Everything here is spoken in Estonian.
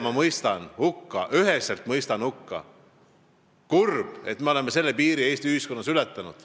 Kurb, et me oleme Eesti ühiskonnas selle piiri ületanud.